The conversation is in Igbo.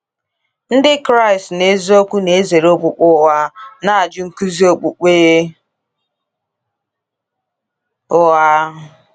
Ndị Kraịst n'eziokwu na-ezere okpukpe ụgha, na-ajụ nkuzi okpukpe ụgha.